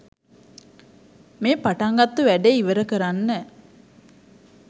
මේ පටන් ගත්තු වැඩේ ඉවර කරන්න